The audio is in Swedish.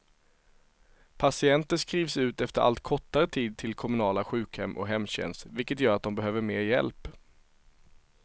Patienter skrivs ut efter allt kortare tid till kommunala sjukhem och hemtjänst, vilket gör att de behöver mer hjälp.